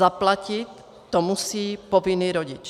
Zaplatit to musí povinný rodič.